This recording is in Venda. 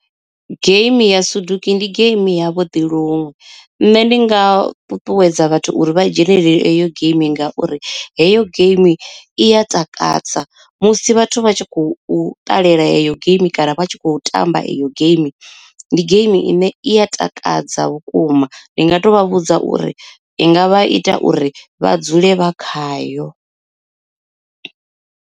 Game ya soduku ndi game ya vhuḓi luṅwe nṋe ndi nga ṱuṱuwedza vhathu uri vha dzhenelele eyo geimi, ngauri heyo geimi i ya takadza musi vhathu vha tshi khou u ṱalela eyo geimi kana vha tshi kho tamba iyo geimi, ndi geimi ine i a takadza vhukuma ndi nga to vha vhudza uri i ngavha i ita uri vha dzule vha khayo.